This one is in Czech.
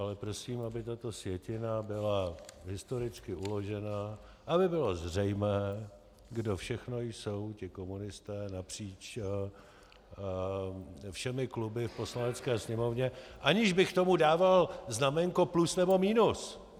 Ale prosím, aby tato sjetina byla historicky uložena, aby bylo zřejmé, kdo všechno jsou ti komunisté napříč všemi kluby v Poslanecké sněmovně, aniž bych tomu dával znaménko plus nebo minus.